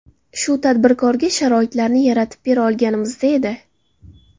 Shu tadbirkorga sharoitlarni yaratib bera olganimizda edi.